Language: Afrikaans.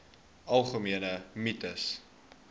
algemene mites